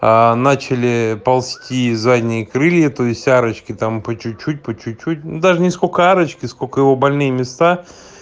начали ползти задние крылья то есть арочки там по чуть-чуть по чуть-чуть даже не столько арочки сколько его больные места